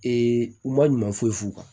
u ma ɲuman foyi f'u kan